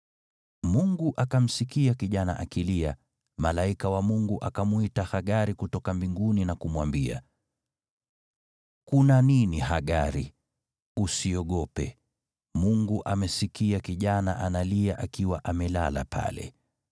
Mungu akamsikia kijana akilia, malaika wa Mungu akamwita Hagari kutoka mbinguni na kumwambia, “Kuna nini Hagari? Usiogope, Mungu amesikia kijana analia akiwa amelala pale.